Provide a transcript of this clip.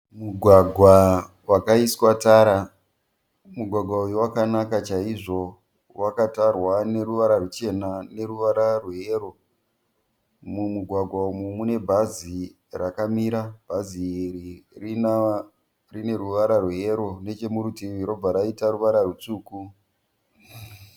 Mugwagwa wakaiswa tara. Mugwagwa uyu wakanaka chaizvo. Wakatarwa neruvara ruchena neruvara rweyero. Mumugwagwa umu mune bhazi rakamira. Bhazi iri rina rine ruvara rweyero nechemurutivi robva raita ruvara rwutsvuku.